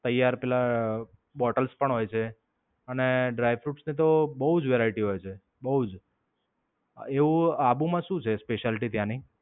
તૈયાર પેલા બોટલ્સ પણ હોય છે. અને dry fruits ની તો બોવ જ variety હોય છે. બોવ જ. એવું આબુ માં શું છે? specialty ત્યાંની?